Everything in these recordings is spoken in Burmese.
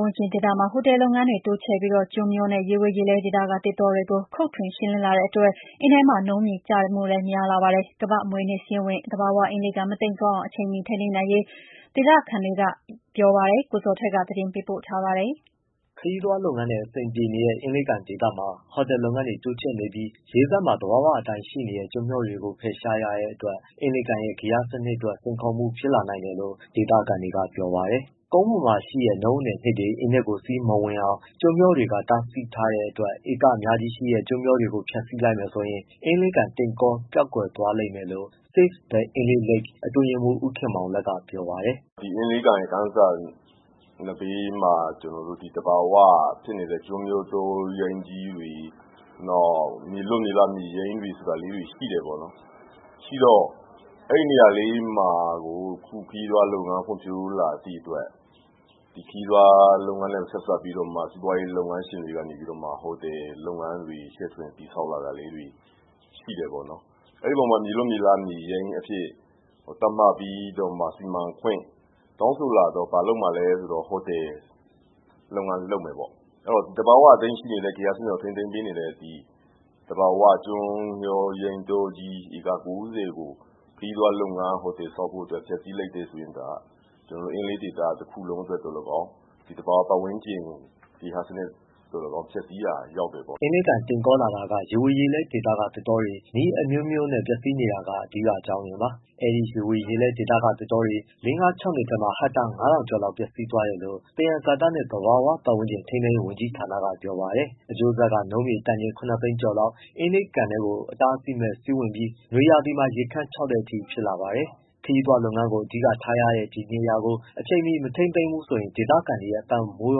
ဝန်းကျင်ဒေသမှာ ဟိုတယ်လုပ်ငန်းတွေတိုးချဲ့နေပြီး ကျွန်းမျောနဲ့ ရေဝေရေလဲဒေသက သစ်တောတွေကို ခုတ်ထွင်ရှင်းလင်းလာတဲ့အတွက် အင်းထဲမှာနုန်းပို့ချတဲ့နှုန်းလည်းတဖြည်းဖြည်း များလာပါတယ်။ ကမ္ဘာ့အမွေအနှစ်စာရင်းဝင် သဘာဝရေကန် အင်းလေးကန် မတိမ်ကောအောင် အချိန်မီထိန်းသိမ်းသင့်ပြီလို့ ဒေသခံတွေကပြောပါတယ်။ ဒီအကြောင်းကို ဗွီအိုအေ မြန်မာပိုင်းသတင်းထောက် ကိုဇော်ထက် ပေးပို့ထားပါတယ်။ ခရီးသွားလုပ်ငန်းနဲ့အဆင်ပြေနေတဲ့ အင်းလေးကန်ဒေသမှာ ဟိုတယ်လုပ်ငန်းတွေ တိုးချဲ့နေပြီး ရေစပ်မှာ သဘာဝအတိုင်း ရှိနေတဲ့ ကျွန်းမျောတွေကိုဖယ်ရှားရတဲ့အတွက် အင်းလေးရဲ့ ဂေဟစနစ်အတွက် စိန်ခေါ်မှုဖြစ်လာနိုင်တယ်လို့ ဒေသခံတွေက ပြောပါတယ်။ ကုန်းပေါ်မှာရှိတဲ့နုန်းအနည်အနှစ်တွေ အင်းထဲကိုစီးမဝင်အောင် ကျွန်းမျောတွေက တားဆီးထားတဲ့အတွက် ဧကအများကြီးရှိတဲ့ ကျွန်းမျောတွေကို ဖျက်ဆီးလိုက်မယ်ဆိုရင် အင်းလေးကန်တိမ်ကောပျောက်ကွယ်သွားလိမ့်မယ်လို့ Save the Inle Lake အတွင်းရေးမှုး ဦးခင်မောင်လတ်က ပြောပါတယ်။ “အင်းလေးကန်ရဲ့ကန်စပ်မှာ သဘာဝဖြစ်နေတဲ့ကျွန်းမျာတောရိုင်းကြီးတွေ၊ နောက်မြေလွတ် မြေရိုင်းလေးတွေဆိုတာ ရှိတယ် ပေါ့နော်။ အဲဒီနေရာလေးမှာကို အခုခရီးသွားလုပ်ငန်း ဖွံ့ဖြိုးလာသည့်အတွက် ဒီခရီးသွားလုပ်ငန်းနဲ့ ဆက်စပ်ပြီးတော့မှ စီးပွားရေးလုပ်ငန်းရှင်တွေက ဟိုတယ်လုပ်ငန်းတွေ ချဲ့ထွင်တည်ဆောက်လာတာလေးတွေ ရှိတယ်ပေါ့နော်။ မြေလွတ်မြေရိုင်း အဖြစ်သတ်မှတ်ပြီးတော့မှ စီမံခွင့်တောင်းဆိုလာတော့ ဘာလုပ်မှာလဲဆိုတော့ ဟိုတယ်လုပ်ငန်းလုပ်မယ်ပေါ့။ အဲဒီတော့ သဘာဝအတိုင်းရှိနေတဲ့ ဂေဟစနစ်ကို ထိန်းသိမ်းပေးနေတဲ့ သဘာဝကျွန်းမျောရိုင်းတောကြီး ဧကကိုးဆယ်ကို ဟိုတယ် ဆောက်ဖို့ဖျက်ဆီးလိုက်မယ်ဆိုရင်အင်းလေးဒေသ တစ်ခုလုံးအတွက်သော်လည်းကောင်း၊ သဘာဝပတ်ဝန်းကျင် ဂေဟစနစ် သော်လည်းကောင်းဖျက်ဆီးရာရောက်တယ်ပေါ့။” အင်းလေးကန် တိမ်ကောလာတာက ရေဝေရေလဲဒေသကသစ်တောတွေ နည်းအမျိုးမျိုးနဲ့ ပျက်ဆီးနေတာက အဓိက အကြောင်းရင်းပါ။ အဲဒီရေဝေရေလဲဒေသကသစ်တောတွေ လေးငါးခြောက်နှစ်ထဲမှာ ဟက်တာ ၅၀၀၀ ကျော်လောက် ပျက်စီးသွားတယ်လို့ သယံဇာတနဲ့သဘာဝပတ်ဝန်းကျင် ထိန်းသိမ်းရေးဝန်ကြီးဌာကပြောပါတယ်။ အကျိုးဆက်က နုန်းမြေတန်ချိန် ၇သိန်းကျော်လောက် အင်းလေးကန်ထဲကို အတားအဆီးမဲ့စီးဝင်ပြီး နွေရာသီမှာ ရေခမ်းခြောက်တဲ့အထိ ဖြစ်လာပါတယ်။ ခရီးသွားလုပ်ငန်းကိုအဓိကထားရတဲ့ ဒီနေရာကို အချိန်မီမထိန်းသိမ်းဘူးဆိုရင် ဒေခံတွေရဲ့ အသက်မွေး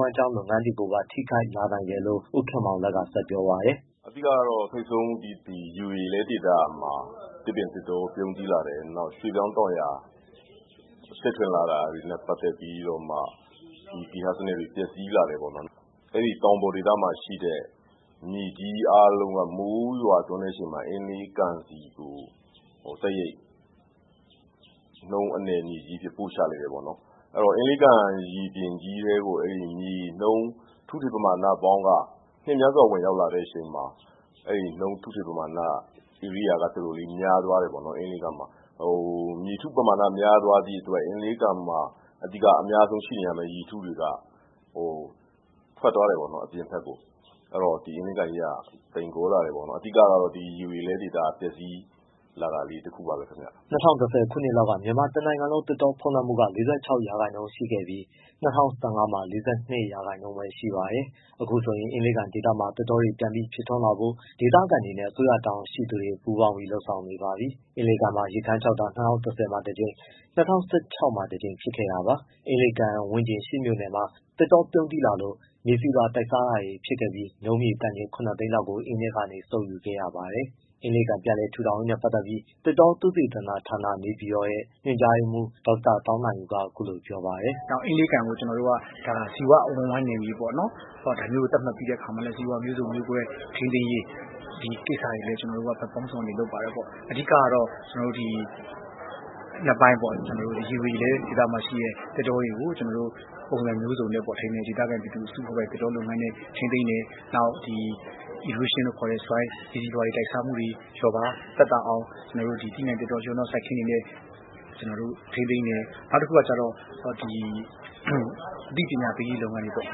ဝမ်းကြောင်း လုပ်ငန်းတွေကိုပါ ထိခိုက်လာနိုင်တယ်လို့ ဦးခင်မောင်လတ် က ဆက်ပြောပါတယ်။ “အဓိကတော့ ထိပ်ဆုံး ဒီရေဝေရေလဲဒေသမှာ သစ်ပင် သစ်တောပြုန်းတီးလာတယ်။ ရွှေ့ပြောင်းတောင်ယာ ချဲ့ထွင်လာတာ တွေနဲ့ပတ်သတ်ပြီးတော့မှ ဒီဂေဟစနစ်တွေ ပျက်စီးလာတယ်ပေါ့နော်။ အဲဒီတောင်ပေါ်ဒေသမှာရှိတဲ့ မြေကြီးအားလုံးက မိုးရွာသွန်းတဲ့အခါမှာ အင်းလေးကန်ဆီကို တိုက်ရိုက်နုန်းအနည် မြေကြီးအဖြစ်ပို့ချလိုက်တယ်ပေါ့နော် အဲဒီတော့ အင်လေးကန် ရေပြင်ကြီးထဲကို အဲဒီမြေနုန်း ထုထည်ပမာဏပေါင်းက နှစ်များစွာ ဝင်ရောက်လာတဲ့အခါမှာ အဲဒီနုန်း ထုထည် ပမာဏက ဧရိယာကတော်တော်လေး မျာသွားတယ်ပေါ့။ မြေထုပမာဏ မျာသွားသည့်အတွက် အင်းလေးကန်မှာအများဆုံး ရှိနေရမယ့်ရေထုတွေက ဟို ထွက်သွားတယ်ပေါ့ အပြင်ဘက်ကို အဲဒီတော့ ဒီ အင်းလေးကန်ကြီးက တိမ်ကောလာတယ်ပေါ့။ အဓိကတော့ ဒီရေဝေရေလဲဒေသပျက်စီးလာတာလေး တစ်ခုပါပဲဗျ။” ၂၀၁၀ ခုနှစ်လောက်က မြန်မာတစ်နိုင်ငံလုံး သစ်တောဖုံးလွှမ်းမှုက ၄၆ရာခိုင်နှုန်းရှိခဲ့ပြီး ၂၀၁၅မှာ ၄၂ ရာခိုင်နှုန်းပဲ ရှိပါတယ်။ အခုဆိုရင် အင်းလေးကန်ဒေသမှာ သစ်တောတွေပြန်ပြီးဖြစ်ထွန်းလာဖို့ ဒေသခံတွေနဲ့ အစိုးရတာဝန်ရှိသူတွေ ပူးပေါင်းပြီးလုပ်ဆောင်နေပါပြီ။ အင်းလေးကန်မှာ ရေခမ်းခြောက်တာ၂၀၁၀မှာတစ်ကြိမ်၊ ၂၀၁၆ မှာတစ်ကြိမ် ဖြစ်ခဲ့တာပါ။ အင်းပတ်ဝန်းကျင် ရှစ်မြို့နယ်မှာ သစ်တောပြုန်းတီးလာလို့ မြေဆီလွှာတိုက်စားတာတွေဖြစ်ခဲ့ပြီး နုန်းမြေတန်ချိန် ၇သိန်း လောက်ကို အင်းထဲကနေစုပ်ယူခဲ့ရပါတယ်။ အင်းလေးကန်ပြန်လည်ထူထောင်ရေးနဲ့ပတ်သတ်ပြီး သစ်တောသုတေသနဌာန ရဲ့ ညွှန်ကြားရေးမှုး ဒေါက်တာသောင်းနိုင်ဦးက အခုလိုပြောပါတယ်။ “အင်းလေးကန်ကို ကျွန်တော်တို့က ဇီဝ အဝန်းအဝိုင်းနယ်မြေပေါ့နော်။ ဒါမျိုးကိုသတ်မှတ်ပြီးတဲ့အခါမှာလည်း ဇီဝမျိုးစုံမျိုးကွဲ ထိန်းသိမ်းရေး ဒီကိစ္စတွေအတွက် ကျွန်တော်တို့ကဘက်ပေါင်းစုံကနေလုပ်ပါတယ်။ အဓိကတော့ ကျွန်တော်တို့က နှစ်ပိုင်းပေါ့ ရေဝေရေလဲဒေသမှာရှိတဲ့ သစ်တောတွေကို ကျွန်တော်တို့က ပုံစံမျိုးစုံနဲ့ ဒေသခံအစုအဖွဲ့ပိုင်သစ်တောနဲ့ထိန်းသိမ်းတယ်။ နောက်ဒီ erosion လို့ခေါ်တဲ့မြေဆီလွှာတွေ တိုက်စားမှုတွေ လျော့ပါးသက်သာအောင် သီးနှံ့ သစ်တောရောနှောစိုက်ပျိုးတဲ့ စိုက်ခင်းတွေနဲ့ ကျွန်တော်တို့ ထိန်းသိမ်းတယ်။ နောက်တစ်ခုက အသိပညာပေးရေးလုပ်ငန်းတွေပေါ့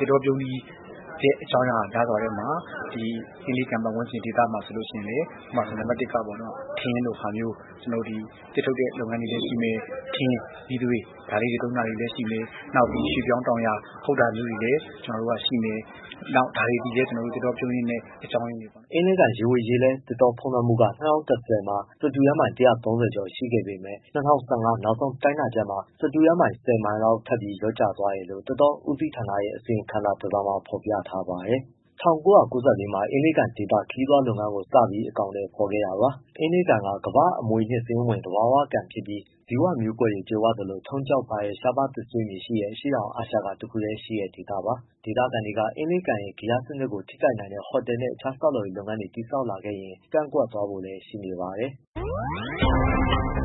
သစ်တောပြုန်းတီးတဲ့ အကြောင်းအရာများစွာထဲမှာ အင်းလေးကန်ပတ်ဝန်းကျင်ဒေသမှာဆိုရင်လည်း နံပတ်တစ်က ထင်းလိုဟာမျိုး ကျွန်တော်တို့ သစ်ထုတ်တဲ့ လုပ်ငန်းတွေလည်းရှိမယ်။ ထင်း၊ မီးသွေး ဒါလေးတွေသုံးတာလည်းရှိမယ်။ နောက်ပြီးရွှေ့ပြောင်းတောင်ယာ ခုတ်တာမျိုးတွေလည်းရှိမယ်။ ဒါတွေလည်း သစ်တောပြုန်းတီးတဲ့အကြောင်းအရင်းတွေပေါ့။” အင်းလေးကန်ရေဝေရေလဲ သစ်တောဖုံးလွှမ်းမှုက ၂၀၁၀မှာ စတုရန်းမိုင် ၁၃၀ ကျော်ရှိခဲ့ပေမဲ့ ၂၀၁၅ နောက်ဆုံးတိုင်းတာချက် မှာ စတုရန်းမိုင် ၁၀မိုင်လောက်ထပ်ပြီးလျော့ကျသွားတယ်လို့ သစ်တောဦးစီးဌာနရဲ့ အစီရင်ခံစာတစ်စောင်မှာ ဖော်ပြထား ပါတယ်။ ၁၉၉၄ မှာ အင်းလေးကန်ဒေသ ခရီးသွားလုပ်ငန်းကိုစပြီး အကောင်အထည်ဖော်ခဲ့တာပါ။ အင်းလေးကန်က ကမ္ဘာ့အမွေအနှစ် စာရင်းဝင် သဘာဝကန်ဖြစ်ပြီး ဇီဝမျိုးကွဲတွေကြွယ်ဝသလို ထုံးကျောက်ပါတဲ့ ရှားပါး သစ်ဆွေးမြေရှိတဲ့ အရှေ့တောင်အာရှက တစ်ခုတည်းရှိတဲ့ဒေသပါ။ ဒေသခံတွေက အင်းလေးရဲ့ဂေဟစနစ်ကို ထိခိုက်နိုင်တဲ့ ဟိုတယ်နဲ့ အခြားဆောက်လုပ်ရေး လုပ်ငန်းတွေတည်ဆောက်လာခဲ့ရင် ကန့်ကွက်ဖို့လည်း ရှိနေပါတယ်။